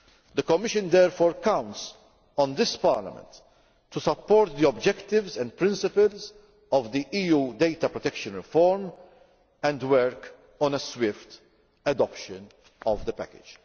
The Commission therefore counts on this Parliament to support the objectives and principles of the EU data protection reform and work on the swift adoption of the package.